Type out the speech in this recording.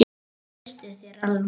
Ég treysti þér alveg!